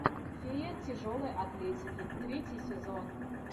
фея тяжелой атлетики третий сезон